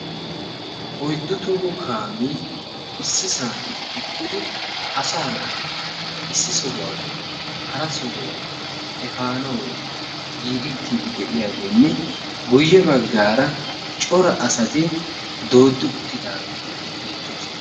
Oyddu toho kaamee issisan eqqidi asaa naata issi sohuwappe hara sohuwa efaanawu giigettiiddi de'iyageenne guyye baggaara cora asati dooddi uttidaageeti beettoosona.